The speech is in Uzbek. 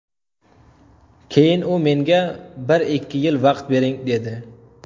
Keyin u menga ‘bir-ikki yil vaqt bering‘, dedi.